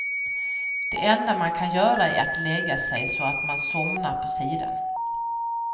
Det enda man kan göra är att lägga sig så att man somnar på sidan.